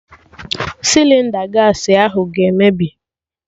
Sịlịnda gaasị ahụ ga-emebi